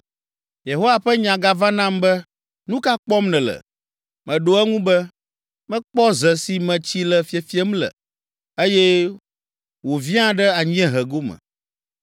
Yehowa ƒe nya gava nam be, “Nu ka kpɔm nèle?” Meɖo eŋu be, “Mekpɔ ze si me tsi le fiefiem le, eye wòviã ɖe anyiehe gome.”